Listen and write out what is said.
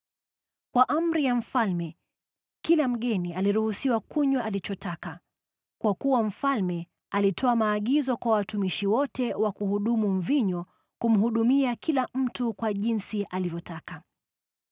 Kwa amri ya mfalme kila mgeni aliruhusiwa kunywa alichotaka, kwa kuwa mfalme alitoa maagizo kwa watumishi wote wa kuhudumu mvinyo kumhudumia kila mtu kwa jinsi alivyotaka.